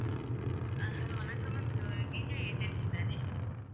அஹ் hello வணக்கம் ma'am இது DJ agency தானே